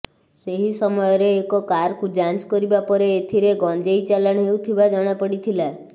ସେହି ସମୟରେ ଏକ କାରକୁ ଯାଞ୍ଚ କରିବା ପରେ ଏଥିରେ ଗଞ୍ଜେଇ ଚାଲାଣ ହେଉଥିବା ଜଣାପଡିଥିଲା